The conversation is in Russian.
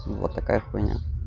вот такая хуйня